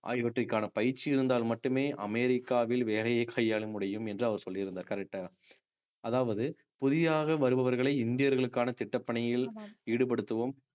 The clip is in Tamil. ஆகியவற்றுக்கான பயிற்சி இருந்தால் மட்டுமே அமெரிக்காவில் வேலையை கையாள முடியும் என்று அவர் சொல்லியிருந்தார் correct ஆ அதாவது புதிதாக வருபவர்களை இந்தியர்களுக்கான திட்டப்பணியில் ஈடுபடுத்துவோம்